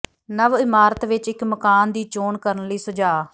ਨਵ ਇਮਾਰਤ ਵਿਚ ਇਕ ਮਕਾਨ ਦੀ ਚੋਣ ਕਰਨ ਲਈ ਸੁਝਾਅ